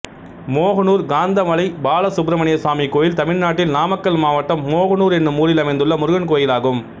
மோகனூர் காந்தமலை பாலசுப்ரமணியசுவாமி கோயில் தமிழ்நாட்டில் நாமக்கல் மாவட்டம் மோகனூர் என்னும் ஊரில் அமைந்துள்ள முருகன் கோயிலாகும்